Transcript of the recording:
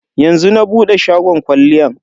Yanzu na bude shagon kwalliyan.